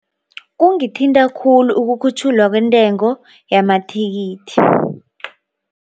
Kungithinta khulu ukukhutjhulwa kwentengo yamathikithi.